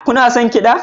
Kuna son kiɗa